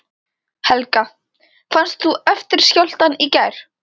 Helga: Fannst þú eftirskjálftann í gær?